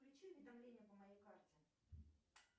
включи уведомления по моей карте